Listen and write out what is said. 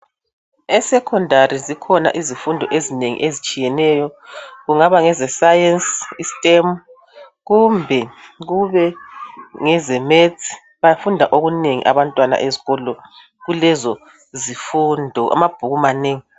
E-secondary zikhona izifundo ezitshiyeneyo kungaba ngeze science i-STEM, kumbe kube ngeze Maths bafunda okunengi abantwana esikolo kulezo zifundo amabhuku manengi.